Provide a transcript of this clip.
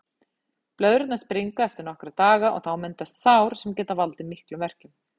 Blöðrurnar springa eftir nokkra daga og þá myndast sár sem geta valdið miklum verkjum.